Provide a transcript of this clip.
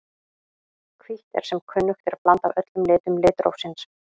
Hvítt er sem kunnugt er blanda af öllum litum litrófsins.